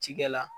Cikɛ la